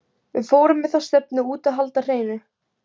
Við fórum með þá stefnu út að halda hreinu.